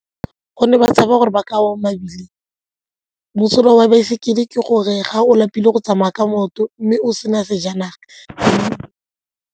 Gonne ba tshaba gore ba ka wa mosola wa baesekele ke gore ga o lapile go tsamaya ka maoto mme o sena sejanaga.